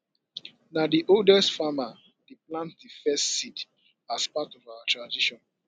na the oldest farmer dey plant the first seed as part of our tradition